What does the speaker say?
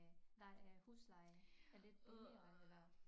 Der er husleje er lidt billigere eller